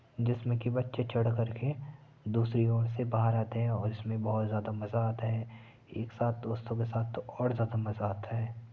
जिसमें की बच्चे चढ़ कर के दूसरी और से बाहर आते है और इसमें बहुत ज्यादा मजा आता है। एक साथ दोस्तों के साथ तो और ज्यादा मजा आता है।